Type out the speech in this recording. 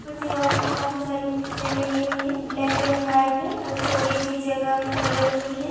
और दीवार पर काफी सारी पिक्चर लगी हुई है ब्लॅक अँड व्हाइट और थोड़ी सी जगह मे कलरफूल है।